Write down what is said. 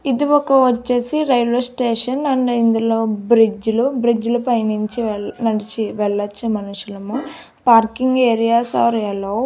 ఇది ఒక వచ్చేసి రైల్వే స్టేషన్ ఆండ్ ఇందులో బ్రిడ్జ్ లు బ్రిడ్జ్ లు పై నుంచి వెల్ నడిచి వెళ్ళొచ్చు మనుషులము పార్కింగ్ ఏరియాస్ ఆర్ అల్లో .